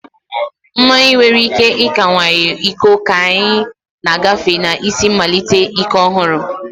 Mmanụ nwere ike ịkawanye ụkọ ka anyị na-agafe na isi mmalite ike ọhụrụ.